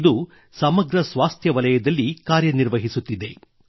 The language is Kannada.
ಇದು ಸಮಗ್ರ ಸ್ವಾಸ್ಥ್ಯ ವಲಯದಲ್ಲಿ ಕಾರ್ಯನಿರ್ವಹಿಸುತ್ತಿದೆ